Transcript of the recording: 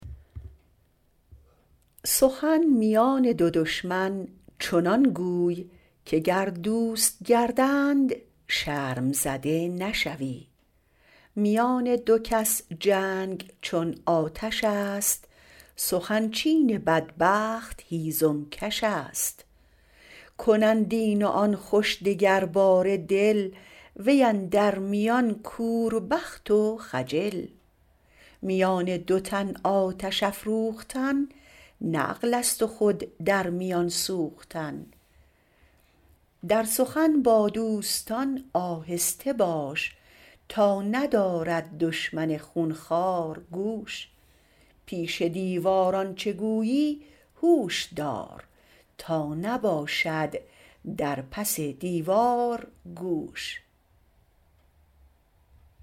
سخن میان دو دشمن چنان گوی که گر دوست گردند شرم زده نشوی میان دو کس جنگ چون آتش است سخن چین بدبخت هیزم کش است کنند این و آن خوش دگرباره دل وی اندر میان کوربخت و خجل میان دو تن آتش افروختن نه عقل است و خود در میان سوختن در سخن با دوستان آهسته باش تا ندارد دشمن خونخوار گوش پیش دیوار آنچه گویی هوش دار تا نباشد در پس دیوار گوش